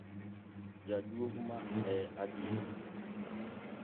Jaduong',ma e adiera